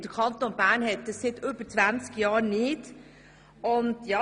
Der Kanton Bern hat das seit über 20 Jahren nicht mehr.